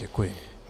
Děkuji.